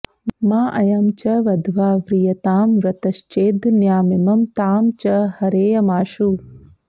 माऽयं च वध्वा व्रियतां वृतश्चेद्धन्यामिमं तां च हरेयमाशु